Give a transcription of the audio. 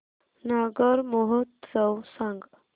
नागौर महोत्सव सांग